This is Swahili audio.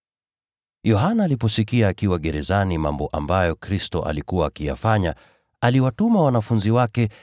Yohana aliposikia akiwa gerezani mambo ambayo Kristo alikuwa akiyafanya, aliwatuma wanafunzi wake